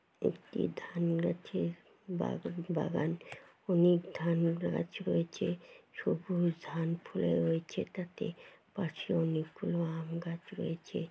একটি ধান গাছের বাগান বাগান অনেক ধান গাছ রয়েছে সবুজ ধান ফুলে রয়েছে এটাতে। পাশে অনেকগুলো আম গাছ রয়েছে।